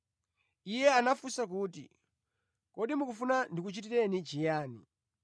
Iye anafunsa kuti, “Kodi mukufuna ndikuchitireni chiyani?”